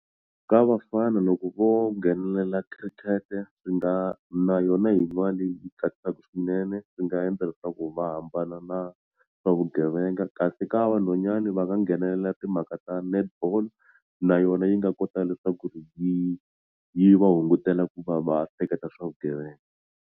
Ka vafana loko vo nghenelela khirikete swi nga na yona hi yin'wani yi tsakisaka swinene swi nga endla leswaku va hambana na swa vugevenga kasi ka vanhwanyani va nga nghenelela timhaka ta netball na yona yi nga kota leswaku ri yi yi va hungutela ku va va hleketa swa vugevenga.